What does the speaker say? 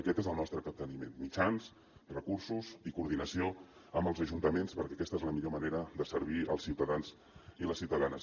aquest és el nostre capteniment mitjans recursos i coordinació amb els ajuntaments perquè aquesta és la millor manera de servir els ciutadans i les ciutadanes